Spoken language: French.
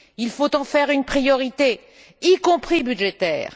Il faut en faire une priorité, y compris budgétaire.